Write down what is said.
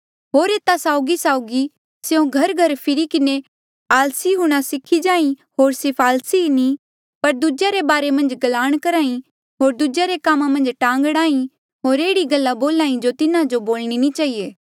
होर एता साउगीसाउगी स्यों घरघर फिरि किन्हें आलसी हूंणां सीखी जाहीं होर सिर्फ आलसी ई नी पर दूजेया रे बारे मन्झ गलांण करी होर दूजेया रे कामा मन्झ टांग अड़ाई होर एह्ड़ी गल्ला बोल्हा ई जो तिन्हा जो नी बोलणी चहिए